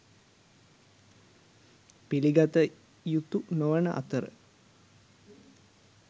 පිළිගත යුතු නොවන අතර